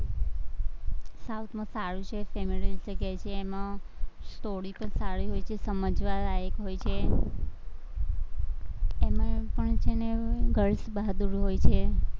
south માં સારું છે, સેમોરિઅલ જગ્યા છે એમાં story પણ સારી હોય છે, સમજવા લાયક હોય છે, એમાં પણ છે ને girls બહાદુર હોય છે.